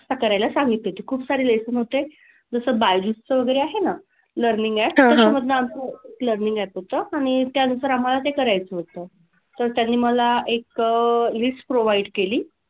करायला सांगितले होते. खूपसारे lesson होते. जसं बायजुजचं वगैरे आहे ना learning app त्याच्यामधनं आम्हाला learning app होतं आणि त्यानुसार आम्हाला ते करायचं होतं. तर त्यांनी मला एक list provide केली.